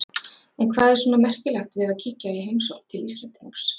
En hvað er svona merkilegt við að kíkja í heimsókn til Íslendings?